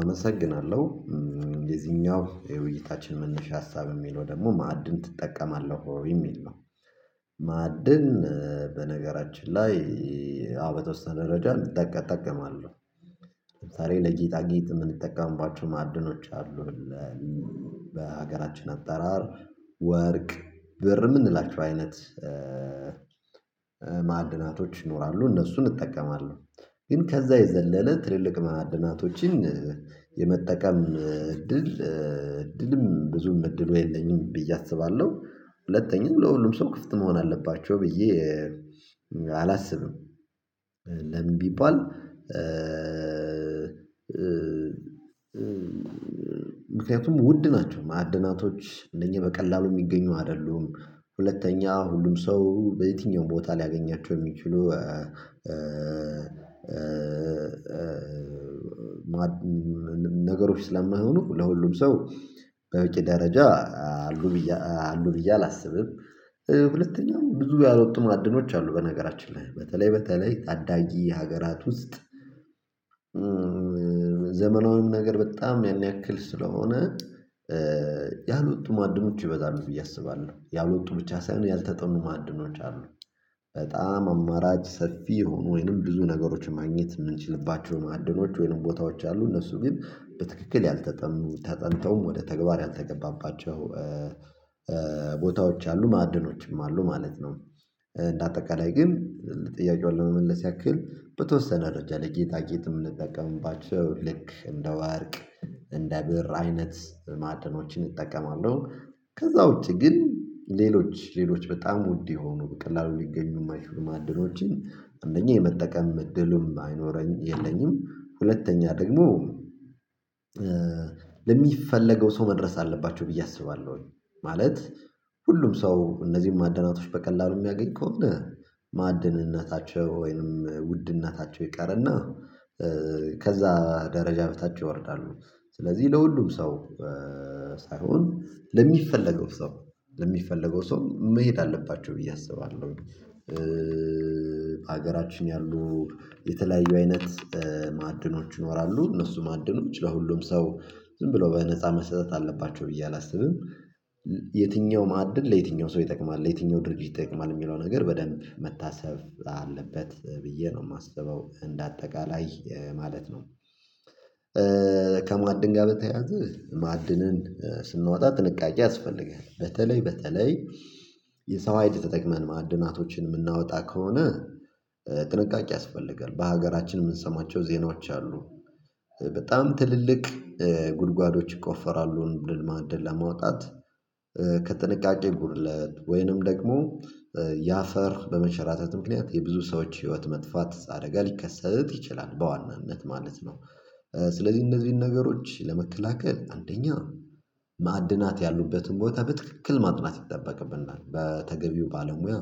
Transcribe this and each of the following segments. አመሰግናለሁ የዚህኛው የውይይታችን መነሻ ሀሳብ የሚለው ደግሞ ማዕድን ትጠቀማለህ ወይ የሚል ነው? ማዕድን በነገራችን ላይ። አዎ በተወሰነ ደረጃ እጠቀም እጠቀማለሁ። ታዲያ ለጌጣጌጥ የምንጠቀምባቸው ማዕድኖች አሉን። በሀገራችን አጠራር ወርቅ ብር የምንላቸው አይነት ማዕድናቶች ይኖራሉ እነሱን እጠቀማለሁ። ግን ከዛ የዘለለ ትልልቅ ማዕድናቶችን የመጠቀም እድል እድልም ብዙም እድሉ የለኝም ብዬ አስባለሁ። ሁለተኛው ለሁሉም ሰው ክፍት መሆን አለባቸው ብዬ አላስብም። ለምን ቢባል? ምክንያቱም ውድ ናቸው ማዕድናቶች እነኚህ በቀላሉ የሚገኙ አይደሉም። ሁለተኛ ሁሉም ሰው በየትኛውም ቦታ ሊያገኛቸው የሚችሉ ነገሮች ስለማይሆኑ ለሁሉም ሰው በበቂ ደረጃ አሉ ብዬ አሉ ብዬ አላስብም። ሁለተኛው ብዙ ያልወጡ ማዕድኖች አሉ በነገራችን ላይ በተለይ በተለይ ታዳጊ ሀገራት ውስጥ። ዘመናዊም ነገር በጣም ያን ያክል ስለሆነ ያሎጡ ማዕድኖች ይበዛሉ ብዬ አስባለሁ። ያልወጡ ብቻ ሳይሆን ያልተጠኑ ማዕድኖች አሉ። በጣም አማራጭ ሰፊ ይሁኑ ወይንም ብዙ ነገሮች ማግኘት የምንችልባቸው ማዕድኖች ወይንም ቦታዎች አሉ እነሱ ግን በትክክል ያልተጠኑ ተጠንተውም ወደ ተግባር ያልተገባባቸው ቦታዎች አሉ ማዕድኖችም አሉ ማለት ነው። እንደ አጠቃላይ ግን ጥያቄውን ለመመለስ ያክል በተወሰነ ደረጃ ላይ ጌጣጌጥ የምንጠቀምባቸው ልክ እንደ ወርቅ እንደ ብር አይነት ማዕድኖችን እጠቀማለሁ። ከዛ ውጪ ግን ሌሎች ሌሎች በጣም ውድ የሆኑ በቀላሉ ሊገኙ የማይችሉ ማዕድኖችን አንደኛ የመጠቀም እድልም አይኖረኝም የለኝም ሁለተኛ ደግሞ ለሚፈለገው ሰው መድረስ አለባቸው ብዬ አስባለሁኝ። ማለት ሁሉም ሰው እነዚህን ማዕድናቶች በቀላሉ የሚያገኝ ከሆነ ማዕድንነታቸው ወይንም ውድ እነታቸው ይቀርና ከዛ ደረጃ በታች ይወርዳሉ። ስለዚህ ለሁሉም ሰው ሳይሆን ለሚፈለገው ሰው ለሚፈለገው ሰው መሄድ አለባቸው ብዬ አስባለሁ። ሀገራችን ያሉ የተለያዩ አይነት ማዕድኖች ይኖራሉ እነሱ ማዕድኖች ለሁሉም ሰው ዝም ብለው በነፃ መሰጠት አለባቸው ብዬ አላስብም። የትኛው ማዕድን ለየትኛው ሰው ይጠቅማል ለየትኛው ድርጅት ይጠቅማል የሚለው ነገር በደንብ መታሰብ አለበት ብዬ ነው የማስበው እንደ አጠቃላይ ማለት ነው። ከማዕድን ጋር በተያያዘ ማዕድንን ስናወጣ ጥንቃቄ ያስፈልጋል በተለይ በተለይ የሰው ሀይል ተጠቅመን ማዕድናቶችን የምናወጣ ከሆነ ጥንቃቄ ያስፈልጋል በሀገራችን የምንሰማቸው ዜናዎች አሉ። በጣም ትልልቅ ጉድጓዶች ይቆፈራሉ ማዕድን ለማውጣት ከጥንቃቄ ጉድለት ወይንም ደግሞ ያፈር በመሸራተት ምክንያት የብዙ ሰዎች ህይወት መጥፋት አደጋ ሊከሰት ይችላል በዋናነት ማለት ነው። ስለዚህ እነዚህን ነገሮች ለመከላከል አንደኛ ማዕድናት ያሉበትን ቦታ በትክክል ማጥናት ይጠበቅብናል በተገቢው ባለሙያ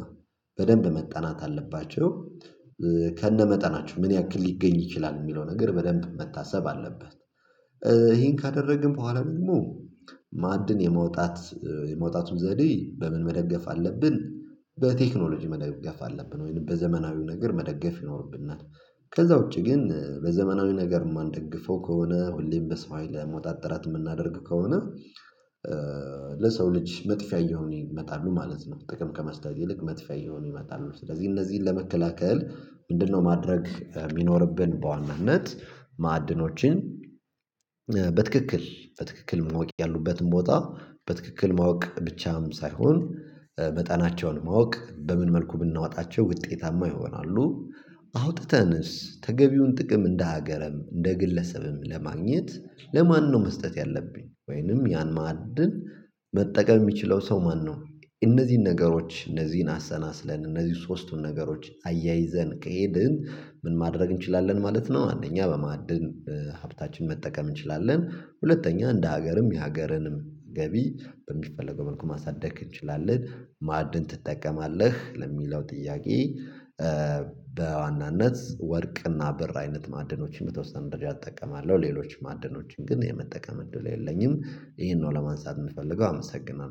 በደንብ መጠናት አለባቸው። ከነመጠናቸው ምን ያክል ሊገኝ ይችላል የሚለው ነገር በደንብ መታሰብ አለበት። ይሄን ካደረግን በኋላ ደግሞ ማዕድን የማውጣት የማውጣቱን ዘዴ በምን መደገፍ አለብን በቴክኖሎጂ መደገፍ አለብን ወይም በዘመናዊው ነገር መደገፍ ይኖርብናል። ከዛ ውጪ ግን በዘመናዊው ነገር የማንደግፈው ከሆነ ሁሌም በሰው ሀይል ለማውጣት ጥረት የምናደርግ ከሆነ ለሰው ልጅ መጥፊያ እየሆነ ይመጣሉ ማለት ነው። ጥቅም ከመስጠት ይልቅ መጥፊያ እየሆኑ ይመጣሉ። ስለዚህ እነዚህን ለመከላከል ምንድነው? ማድረግ የሚኖርብን በዋናነት ማዕድኖችን በትክክል በትክክል ማወቅ ያሉበትን ቦታ በትክክል ማወቅ ብቻም ሳይሆን መጠናቸውን ማወቅ በምን መልኩ ብናወጣቸው ውጤታማ ይሆናሉ። አውጥተንስ ተገቢውን ጥቅም እንደ ሀገርም እንደ ግለሰብም ለማግኘት ለማነው መስጠት ያለብኝ ወይንም ያን ማዕድን መጠቀም የሚችለው ሰው ማነው? እነዚህን ነገሮች እነዚህን አሰናስለን እነዚህ ሶስቱን ነገሮች አያይዘን ከሄድን ምን ማድረግ እንችላለን ማለት ነው። አንደኛ በማዕድን ሀብታችን መጠቀም እንችላለን። ሁለተኛ እንደ ሀገርም የሀገርንም ገቢ በሚፈለገው መልኩ ማሳደግ እንችላለን። ማዕድን ትጠቀማለህ ለሚለው ጥያቄ? በዋናነት ወርቅና ብር አይነት ማዕድኖችን በተወሰነ ደረጃ እጠቀማለሁ ሌሎች ማዕድኖችን ግን የመጠቀም እድሉ የለኝም። ይሄን ነው ለማንሳት የምፈልገው አመሰግናለሁ